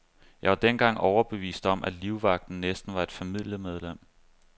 Jeg var dengang overbevist om, at livvagten næsten var et familiemedlem.